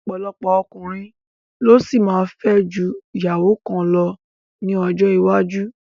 Ọ̀pọ̀lọpọ̀ ọkùnrin ló ṣì máa fẹ́ ju ìyàwó kan lọ ní ọjọ́ iwájú